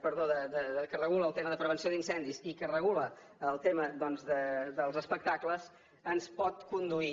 perdó que regula el tema de prevenció d’incendis i que regula el tema doncs dels espectacles ens pot conduir